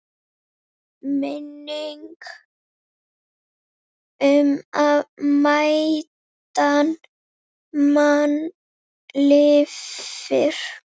Minning um mætan mann lifir.